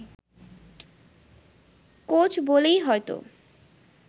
coach বলেই হয়ত